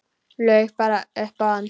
Laug bara upp á hann.